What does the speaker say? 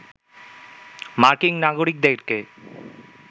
মার্কিন নাগরিকদেরকে